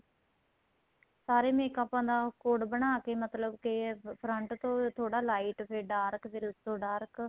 ਸਾਰੇ makeup ਦਾ code ਬਣਾਕੇ ਮਤਲਬ ਕੇ front ਤੋ ਥੋੜਾ light ਫ਼ੇਰ dark ਫ਼ੇਰ ਉਸ ਤੋਂ dark